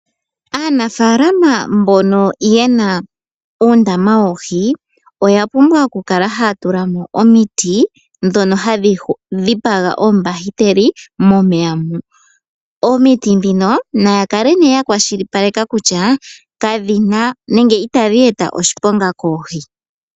Aanafalama mbono yena uundama woohi oya pumbwa oku kala haya tulamo omiiti dhono hadhi dhipaga oombahiteli momeya mo. Omiti dhino naya kale nee ya kwashilipaleka kutya kadhina nenge itadhi eta oshiponga koohi.